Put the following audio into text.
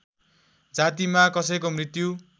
जातिमा कसैको मृत्यु